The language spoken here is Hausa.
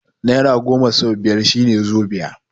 Nera goma sau biyar shine zobiya